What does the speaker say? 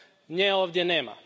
Nje ovdje nema.